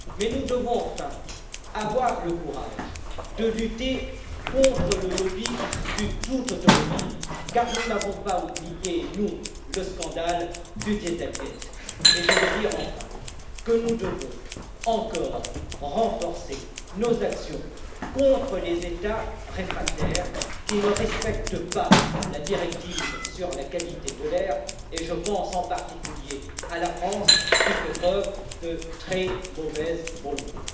Nous devons aussi avoir le courage de lutter contre le lobby du tout automobile, car nous n'avons pas oublié, nous, le scandale du dieselgate. Enfin, je veux dire que nous devons encore renforcer nos actions contre les États réfractaires qui ne respectent pas la directive sur la qualité de l'air, et je pense en particulier à la France qui fait preuve de très mauvaise volonté.